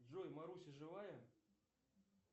джой маруся живая